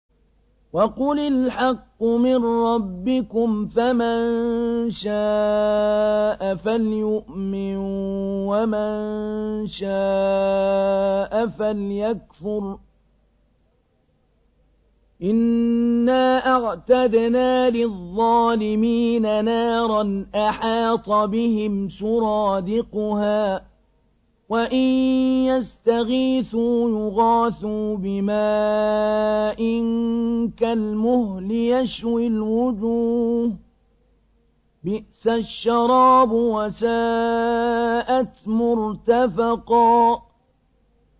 وَقُلِ الْحَقُّ مِن رَّبِّكُمْ ۖ فَمَن شَاءَ فَلْيُؤْمِن وَمَن شَاءَ فَلْيَكْفُرْ ۚ إِنَّا أَعْتَدْنَا لِلظَّالِمِينَ نَارًا أَحَاطَ بِهِمْ سُرَادِقُهَا ۚ وَإِن يَسْتَغِيثُوا يُغَاثُوا بِمَاءٍ كَالْمُهْلِ يَشْوِي الْوُجُوهَ ۚ بِئْسَ الشَّرَابُ وَسَاءَتْ مُرْتَفَقًا